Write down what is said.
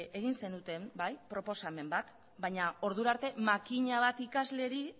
egin zenuten proposamen bat baina ordurarte makina bat ikasleri